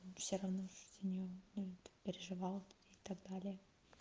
все равно же за него переживала и так далее